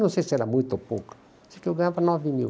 Não sei se era muito ou pouco, mas eu ganhava nove mil.